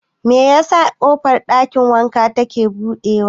Me yasa ƙofar ɗakin wankan ta ke buɗe?